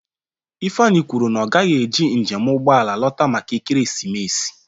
Ifeanyi kwuru na ọ gaghị eji njem ụgbọ ala lọta maka ekeresimesi.